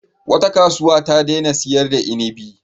Wata kasuwa ta daina sayar da inibi.